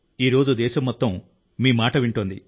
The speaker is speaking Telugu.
ఈ రోజు దేశం మొత్తం మీ మాట వింటోంది